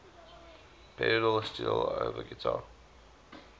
pedal steel guitar